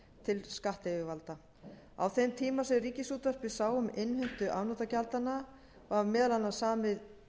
til skattyfirvalda á þeim tíma sem ríkisútvarpið sá um innheimtu afnotagjaldanna var meðal annars samið